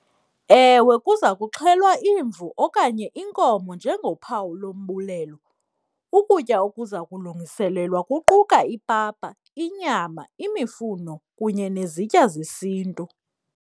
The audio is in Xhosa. Ewe, kuza kuxhelwa imvu okanye inkomo njengophawu lombulelo. Ukutya okuza kulungiselelwa kuquka ipapa, inyama, imifuno kunye nezitya zesiNtu.